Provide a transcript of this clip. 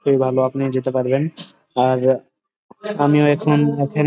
খুবই ভাল আপনি যেতে পারবেন আর আমিও এখন এখানে--